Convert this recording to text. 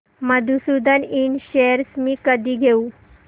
मधुसूदन इंड शेअर्स मी कधी घेऊ